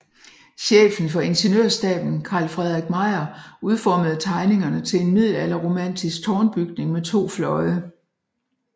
Chefen for Ingeniørstaben Carl Fredrik Meijer udformede tegningerne til en middelalderromantisk tårnbyggning med to fløje